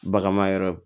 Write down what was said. Baganma yɔrɔ